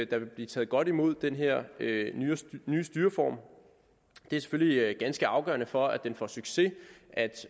der vil blive taget godt imod den her nye styreform det er selvfølgelig ganske afgørende for at den får succes at